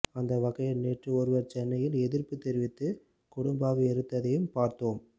அந்த வகையில் நேற்று ஒருவர் சென்னையில் எதிர்ப்பு தெரிவித்து கொடும்பாவி எரித்ததையும் பார்த்தோம்